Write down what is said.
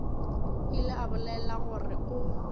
ile a bolela gore o